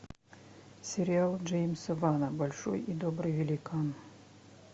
сериал джеймса вана большой и добрый великан